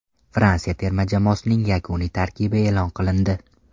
Fransiya terma jamoasining yakuniy tarkibi e’lon qilindi.